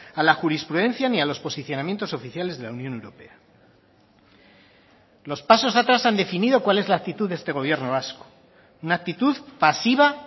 a la jurisprudencia ni a los posicionamientos oficiales de la unión europea los pasos atrás han definido cuál es la actitud de este gobierno vasco una actitud pasiva